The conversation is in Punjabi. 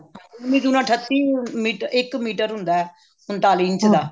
ਉੰਨੀ ਦੂਣਾ ਅੱਠਤੀ ਮੀ ਇੱਕ ਮੀਟਰ ਹੁੰਦਾ ਊਂਤਾਲੀ ਇੰਚ ਦਾ